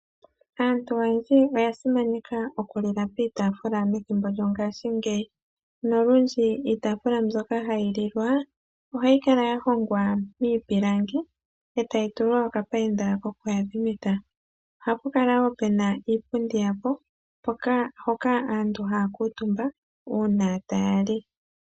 Aantu oyendji oya simaneka oku lila piitaafula methimbo lyongashingeyi, nolundji iitaafula mbyoka hayi lilwa ohayi kala yahongwa miipilangi e tayi tulwa okapayinda kokuyadhimitha. Oha pu kala woo puna iipundi yawo hoka aantu haya kuutumba uuna taya li.